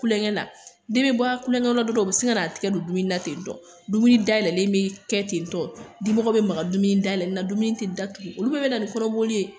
Kulenkɛ la den bɛ bɔ kulenkɛ o bɛ sin ka na tigɛ don dumuni na tentɔn dumuni dayɛlɛlen bɛ kɛ tentɔ dimɔgɔ bɛ maga dumuni dayɛlɛlen na dumuni tɛ datugu olu bɛɛ bɛ na ni kɔnɔboli